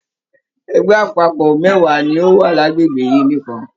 Ẹgbẹ àpapọ mẹwa ní ọ wá l'agbegbe yìí nìkan.